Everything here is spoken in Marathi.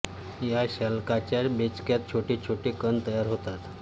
या शल्काच्या बेचक्यात छोटे छोटे कंद तयार होतात